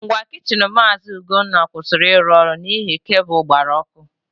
Ngwa kichin Maazị Ugonna kwụsịrị ịrụ ọrụ n'ihi kabụl gbara ọkụ.